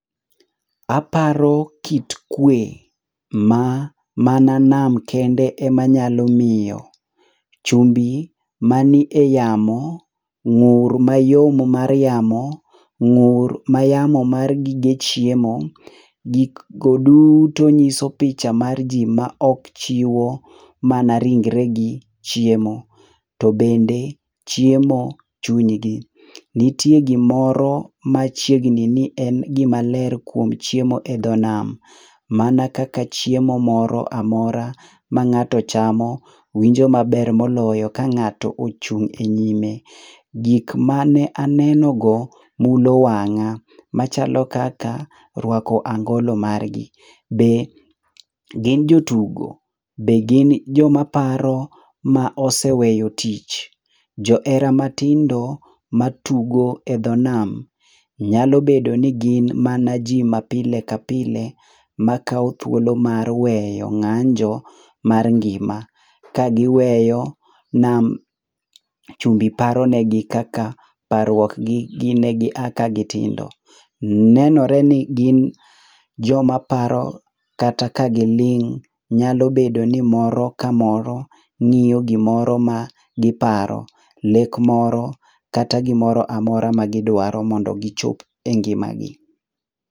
Aparo kit kue, ma, mana nam kende e manyalo miyo. Chumbi ma ni e yamo, ngúr mayom mar yamo, ngúr ma yamo mar gige chiemo, gik go duto nyiso picha ma ji, ma ok chiwo mana ringre gi chiemo, to bende chiemo chunygi. Nitie gimoro machiegni ni en gima ler kuom chiemo e dho nam, mana kaka chiemo moro amora ma ngáto chamo, winjo maber moloyo ka ngáto ochung e nyime. Gik mane anenogo ludo wangá, machalo kaka rwako angolo margi. Be gin jotugo? Be gin joma paro ma oseweyo tich? Johera matindo matugo e dho nam, nyalo bedo ni gin mana ji ma pile ka pile, makao thuolo mar weyo ngánjo mar ngima, ka giweyo nam chumbi paronegi kaka parruok gi, gin negi a ka gitindo. Nenore ni gin jomaparo kata ka giling. Nyalo bedo ni moro kamoro ngíyo gimoro ma giparo, lek moro, kata gimoro amora magidwaro mondo gichop e ngimagi.